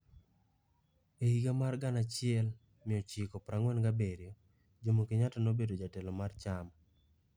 E higa mar 1947, Jomo Kenyatta nobedo jatelo mar chama.